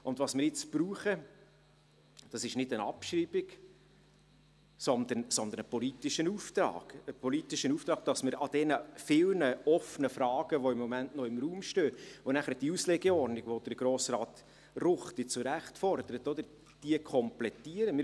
Was wir jetzt brauchen, ist nicht eine Abschreibung, sondern einen politischen Auftrag, damit wir an den vielen offenen Fragen, die im Moment noch im Raum stehen, arbeiten können und danach die Auslegeordnung, die Grossrat Ruchti zu Recht fordert, komplettieren können.